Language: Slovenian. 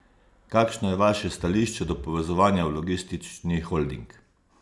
Kakšno je vaše stališče do povezovanja v logistični holding?